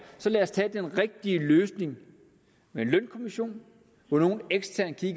så lad os tage den rigtige løsning med en lønkommission få nogle eksterne til at